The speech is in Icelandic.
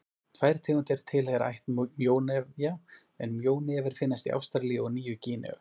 Tvær tegundir tilheyra ætt mjónefja en mjónefir finnast í Ástralíu og á Nýju-Gíneu.